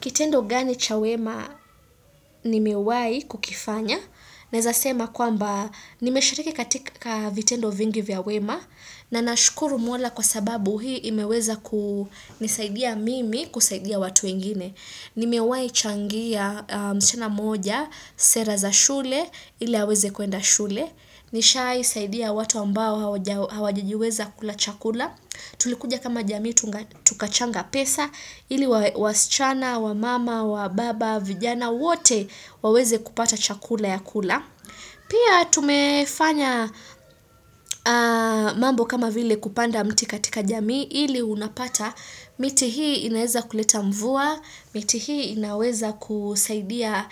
Kitendo gani cha wema ni mewai kukifanya? Naeza sema kwamba ni meshareke katika vitendo vingi vya wema na nashukuru mwala kwa sababu hii imeweza kusaidia mimi kusaidia watu ingine. Nimewai changia msichana moja, sera za shule, ili haweze kuenda shule. Nishai saidia watu ambao hawajijiweza kula chakula. Tulikuja kama jamii tukachanga pesa ili wasichana, wa mama, wa baba, vijana wote waweze kupata chakula ya kula. Pia tumefanya mambo kama vile kupanda mti katika jamii ili unapata miti hii inaweza kuleta mvua, miti hii inaweza kusaidia